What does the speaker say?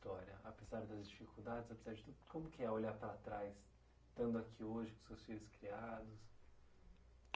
Apesar das dificuldades, apesar de tudo, como que é olhar para trás, estando aqui hoje com seus filhos criados?